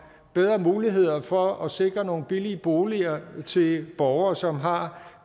bedre muligheder for at sikre nogle billige boliger til borgere som har